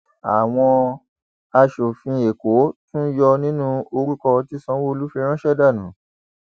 àwọn aṣòfin èkó tún yọ nínú orúkọ tí sanwóolu fi ránṣẹ dànù